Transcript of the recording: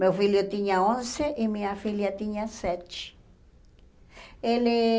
Meu filho tinha onze e minha filha tinha sete. Ele